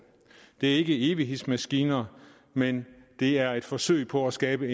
det er ikke evighedsmaskiner men det er et forsøg på at skabe